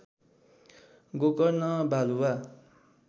गोकर्ण बालुवा